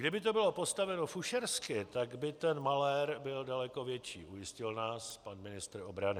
Kdyby to bylo postaveno fušersky, tak by ten malér byl daleko větší, ujistil nás pan ministr obrany.